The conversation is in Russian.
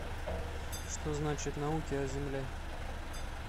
что значит науки о земле